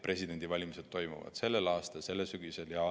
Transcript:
Presidendivalimised toimuvad juba sellel aastal, sellel sügisel.